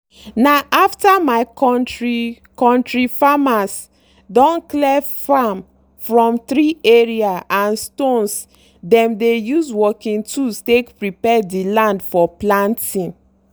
na after my kontri kontri farmers don clear farm from tree area and stones dem dey use working tools take prepare the land for planting.